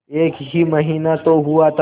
एक ही महीना तो हुआ था